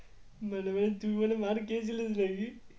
By the way তুই বলে মার খেয়েছিলিস নাকি?